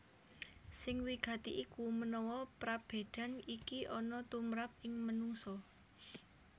Sing wigati iku menawa prabédan iki ana tumrap ing manungsa